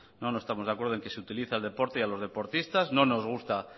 no estamos de acuerdo en que se utilice al deporte y a los deportistas no nos gusta